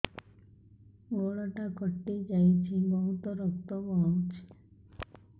ଗୋଡ଼ଟା କଟି ଯାଇଛି ବହୁତ ରକ୍ତ ବହୁଛି